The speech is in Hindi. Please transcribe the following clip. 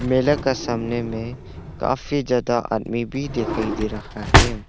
मेले का सामने में काफी ज्यादा आदमी भी दिखाई दे रहा है।